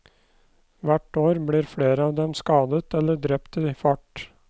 Hvert år blir flere av dem skadet eller drept i fart.